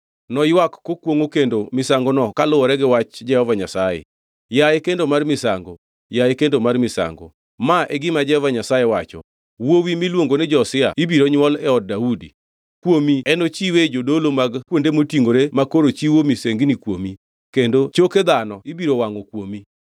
Noywak kokwongʼo kendo misangono kaluwore gi wach Jehova Nyasaye: “Yaye kendo mar misango! Yaye kendo mar misango! Ma e gima Jehova Nyasaye wacho, ‘Wuowi miluongo ni Josia ibiro nywol e od Daudi. Kuomi e nochiwe jodolo mag kuonde motingʼore makoro chiwo misengini kuomi, kendo choke dhano ibiro wangʼ kuomi.’ ”